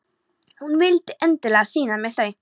Hún vildi endilega sýna mér þau.